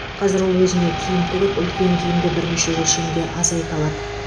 қазір ол өзіне киім тігіп үлкен киімді бірнеше өлшемге азайта алады